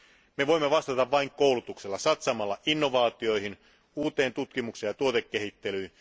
Me voimme vastata vain koulutuksella, satsaamalla innovaatioihin, uuteen tutkimukseen ja tuotekehittelyyn.